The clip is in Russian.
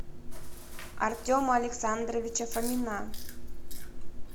артема александровича фомина